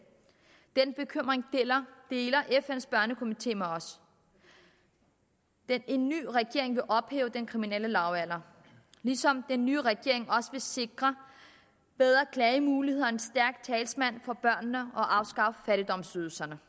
den bekymring deler fn’s børnekomité med os en ny regering vil hæve den kriminelle lavalder ligesom den nye regering også vil sikre bedre klagemuligheder en stærk talsmand for børnene og afskaffe fattigdomsydelserne